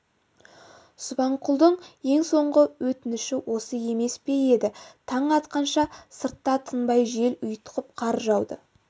субанқұлдың ең соңғы өтініші осы емес пе еді таң атқанша сыртта тынбай жел ұйтқып қар жауды